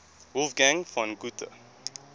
wolfgang von goethe